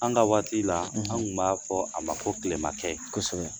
An ka waati la ,an tun b'a fɔ a ma ko tilemakɛ kosɛbɛ